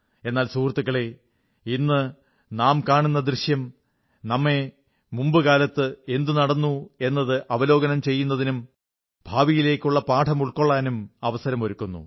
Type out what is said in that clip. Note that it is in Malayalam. എന്നാൽ സുഹൃത്തുക്കളേ ഇന്നു നാം കാണുന്ന ദൃശ്യം നമ്മെ മുമ്പു കാലത്ത് എന്തു നടന്നു എന്നത് അവലോകനം ചെയ്യുന്നതിനും ഭാവിയിലേക്കുള്ള പാഠം ഉൾക്കൊള്ളാനും അവസരമൊരുക്കുന്നു